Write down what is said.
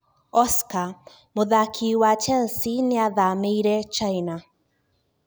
Oscar: Muthaki wa Chelsea niathamiire China